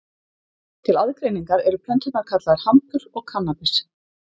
Til aðgreiningar eru plönturnar kallaðar hampur og kannabis.